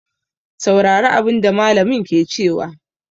Saurari abin da mallamin ke cewa!